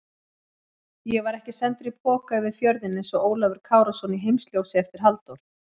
Ég var ekki sendur í poka yfir fjörðinn einsog Ólafur Kárason í Heimsljósi eftir Halldór